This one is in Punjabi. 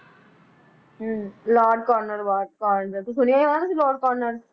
ਹਮ ਲਾਰਡ ਕਾਰਨਵਾਲਿਸ ਤੁਸੀਂ ਸੁਣਿਆ ਹੀ ਹੋਣਾ ਤੁਸੀਂ ਲਾਰਡ ਕਾਰਨਰ